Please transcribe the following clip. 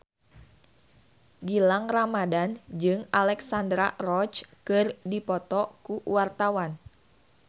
Gilang Ramadan jeung Alexandra Roach keur dipoto ku wartawan